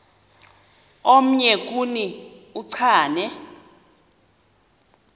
omnye kuni uchane